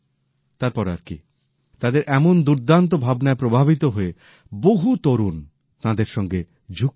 তারপর আর কি তাদের এমন দুর্দান্ত ভাবনায় প্রভাবিত হয়ে বহু তরুণ তাঁদের সঙ্গে যুক্ত হলেন